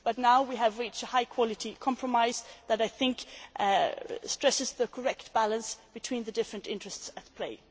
But now we have reached a high quality compromise that, I think, stresses the correct balance between the different interests in play.